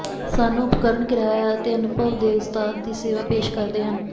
ਸਾਨੂੰ ਉਪਕਰਣ ਕਿਰਾਇਆ ਅਤੇ ਅਨੁਭਵ ਦੇ ਉਸਤਾਦ ਦੀ ਸੇਵਾ ਪੇਸ਼ ਕਰਦੇ ਹਨ